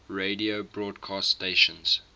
radio broadcast stations